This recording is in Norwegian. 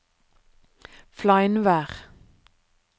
Fleinvær